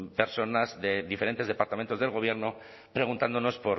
personas de diferentes departamentos del gobierno preguntándonos